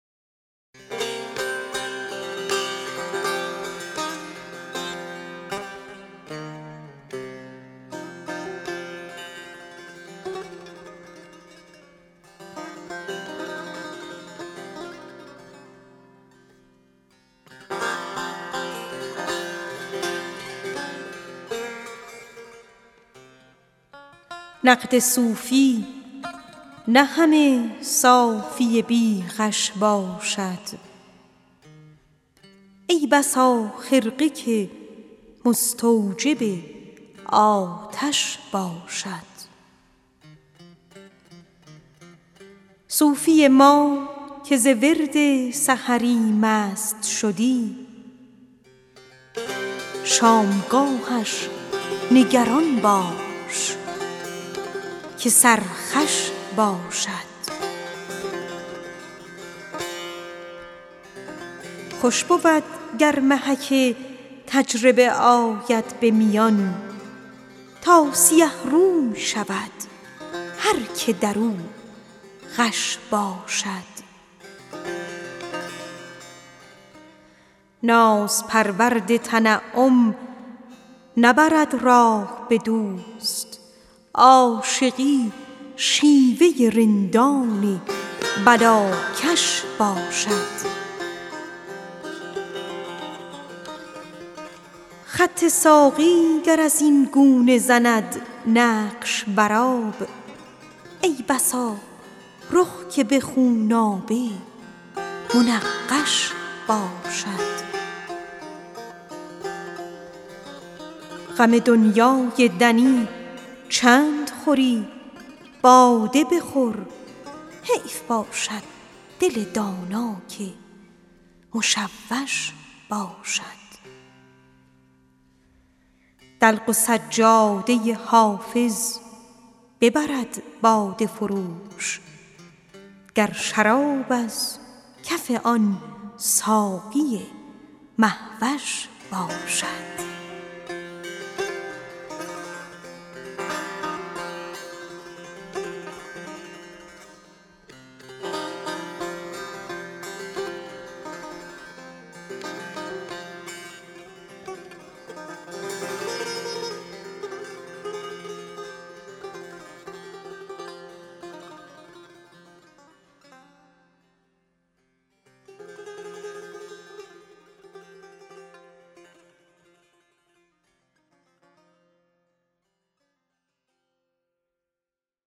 نقد صوفی نه همه صافی بی غش باشد ای بسا خرقه که مستوجب آتش باشد صوفی ما که ز ورد سحری مست شدی شامگاهش نگران باش که سرخوش باشد خوش بود گر محک تجربه آید به میان تا سیه روی شود هر که در او غش باشد خط ساقی گر از این گونه زند نقش بر آب ای بسا رخ که به خونآبه منقش باشد ناز پرورد تنعم نبرد راه به دوست عاشقی شیوه رندان بلاکش باشد غم دنیای دنی چند خوری باده بخور حیف باشد دل دانا که مشوش باشد دلق و سجاده حافظ ببرد باده فروش گر شرابش ز کف ساقی مه وش باشد